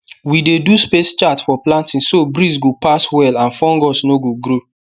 we dey do space chart for planting so breeze go pass well and fungus no go grow